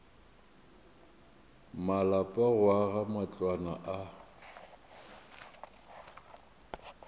malapa go aga matlwana a